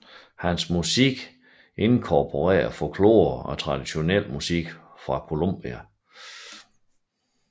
Hans musik inkorporerer folklore og traditionel musik fra Columbia